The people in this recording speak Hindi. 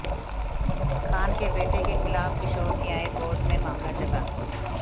खान के बेटे के खिलाफ किशोर न्याय बोर्ड में मामला चला